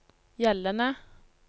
gjeldende